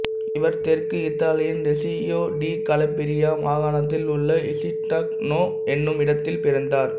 இவர் தெற்கு இத்தாலியின் ரெசியோ டி கலபிரியா மாகாணத்தில் உள்ள இசுட்டிக்னானோ என்னும் இடத்தில் பிறந்தார்